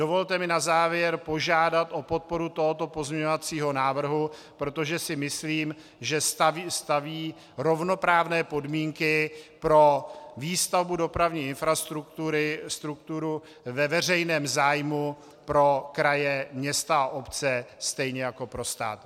Dovolte mi na závěr požádat o podporu tohoto pozměňovacího návrhu, protože si myslím, že staví rovnoprávné podmínky pro výstavbu dopravní infrastruktury ve veřejném zájmu pro kraje, města a obce stejně jak pro stát.